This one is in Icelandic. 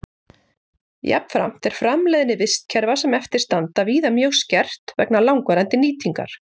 Jafnframt er framleiðni vistkerfa sem eftir standa víða mjög skert vegna langvarandi nýtingar.